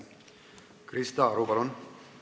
Krista Aru, palun!